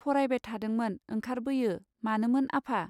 फरायबाय थादोंमोन ओंखारबोयो मानोमोन आफा.